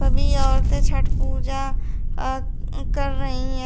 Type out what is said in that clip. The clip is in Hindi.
सभी औरतें छठ पूजा अ कर रही हैं।